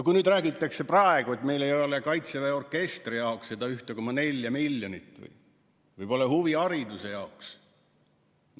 Nüüd räägitakse, et meil ei ole Kaitseväe orkestri jaoks seda 1,4 miljonit või pole raha huvihariduse jaoks.